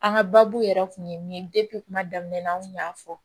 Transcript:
An ka baabu yɛrɛ kun ye kuma daminɛ an kun y'a fɔ